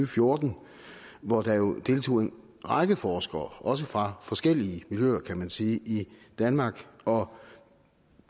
fjorten hvor der deltog en række forskere også fra forskellige miljøer kan man sige i danmark og